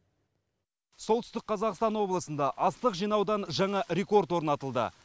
солтүстік қазақстан облысында астық жинаудан жаңа рекорд орнатылды